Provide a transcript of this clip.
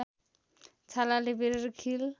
छालाले बेरेर खील